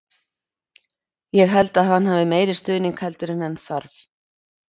Ég held að hann hafi meiri stuðning heldur en hann þarf.